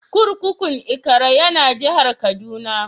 Kurkukun Ikara ya na jihar Kaduna.